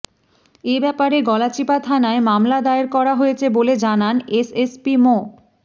এ ব্যাপারে গলাচিপা থানায় মামলা দায়ের করা হয়েছে বলে জানান এসএসপি মো